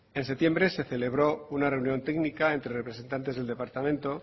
en septiembre se celebró una reunión técnica entre representantes del departamento